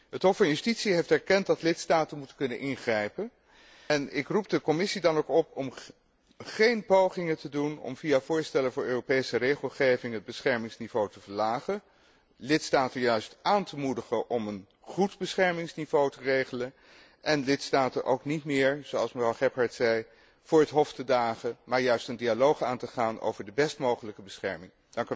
Het Hof van Justitie heeft erkend dat lidstaten moeten kunnen ingrijpen en ik roep de Commissie dan ook op om geen pogingen te doen om via voorstellen voor Europese regelgeving het beschermingsniveau te verlagen, lidstaten juist aan te moedigen om een goed beschermingsniveau te regelen en lidstaten ook niet meer, zoals mevrouw Gebhardt zei, voor het Hof te dagen, maar juist een dialoog aan te gaan over de best mogelijke bescherming.